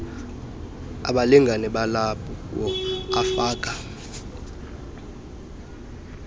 abalingane balowo ufaka